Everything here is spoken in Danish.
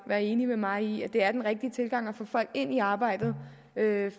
være enige med mig i at det er den rigtige tilgang til at få folk ind i arbejdet